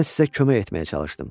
Mən sizə kömək etməyə çalışdım.